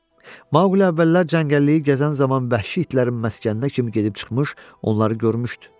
Maqli əvvəllər cəngəlliyi gəzən zaman vəhşi itlərin məskəninə kimi gedib çıxmış, onları görmüşdü.